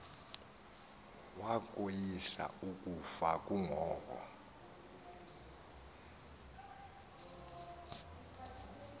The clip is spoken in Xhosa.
wakoyisa ukufa kungoko